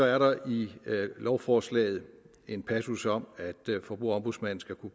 er der i lovforslaget en passus om at forbrugerombudsmanden skal kunne